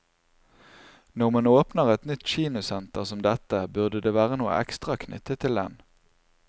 Når man åpner et nytt kinosenter som dette, burde det være noe ekstra knyttet til den.